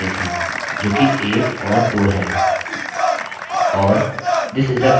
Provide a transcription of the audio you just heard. और फिर हमारे पास 2 लाइन ब्रेक है जो कि 1 और 2 है